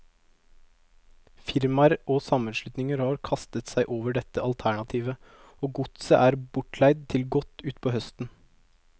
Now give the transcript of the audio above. Firmaer og sammenslutninger har kastet seg over dette alternativet, og godset er bortleid til godt utpå høsten.